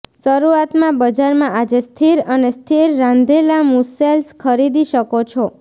શરૂઆતમાં બજારમાં આજે સ્થિર અને સ્થિર રાંધેલા મુસેલ્સ ખરીદી શકો છો